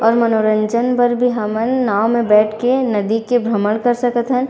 और मनोरंजन बर भी हमन नाँव म बईठ के नदी के भ्रमण कर सकत हन।